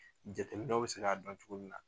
Jateminɛw bɛ se ka dɔn cogomina .